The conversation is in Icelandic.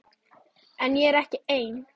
En ég er ekki einn.